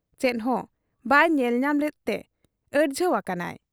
ᱪᱮᱫᱦᱚᱸ ᱵᱟᱭ ᱧᱮᱞ ᱧᱟᱢ ᱞᱮᱫᱛᱮ ᱟᱹᱲᱡᱷᱟᱹᱣ ᱟᱠᱟᱱᱟᱭ ᱾